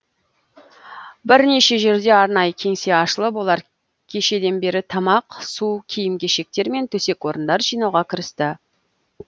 бірнеше жерде арнайы кеңсе ашылып олар кешеден бері тамақ су киім кешектер мен төсек орындар жинауға кірісті